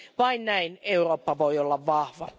Vain näin Eurooppa voi olla vahva.